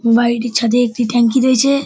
বাড়িটির ছাদে একটি ট্যাঙ্কি রয়েছে-এ।